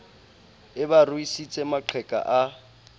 e ba ruisitse maqheka a